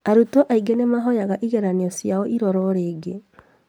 Arutwo angĩ nĩmahoyaga igeranio ciao irorwo rĩngĩ